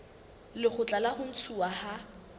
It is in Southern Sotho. lekgotla la ho ntshuwa ha